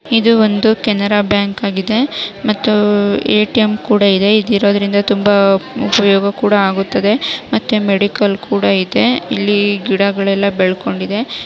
ಇದು ಒಂದು ಕನೆರ ಬ್ಯಾಂಕ್ ಆಗಿದೆ ಮತ್ತು ಎ_ಟಿ_ಎಮ್ ಕೂಡ ಇದೆ ಇದು ಇರೋದರಿಂದ ತುಂಬಾ ಉಪಯೋಗ ಕೂಡ ಆಗುತ್ತದೆ ಮತ್ತೆ ಮೆಡಿಕಲ್ ಕೂಡ ಇದೆ ಇಲ್ಲಿ ಗಿಡಗಳೆಲ್ಲ ಬೆಳೆಕೊಂಡಿದೆ.